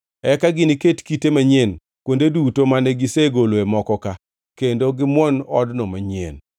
Eka giniket kite manyien kuonde duto mane gisegoloe moko-ka, kendo gimwon odno manyien.